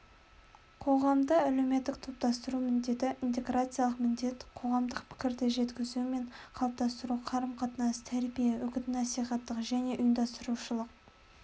қоғамды әлеуметтік топтастыру міндеті интеграциялық міндет қоғамдық пікірді жеткізу мен қалыптастыру қарым-қатынас тәрбие үгіт-насихаттық және ұйымдастырушылық